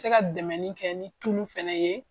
N tɛ se ka dɛmɛnikɛ ni tulu fɛnɛ ye.